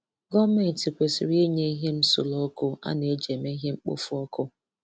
Gọọmenti kwesịrị inye ihe nsure ọkụ a na-eji eme ihe mkpofu ọkụ.